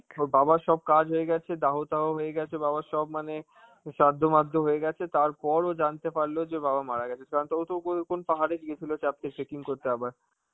ওর বাবার সব কাজ হয়ে গেছে, দাহ তাহ হয়ে গেছে বাবার সব মানে, উ সাধ্য মধো হয়ে গেছে, তারপর ও জানতে পারলো যে বাবা মারা গেছে, কারণ তো ও তো কোন~ কোন পাহাড়ে গিয়েছিল trekking করতে আবার.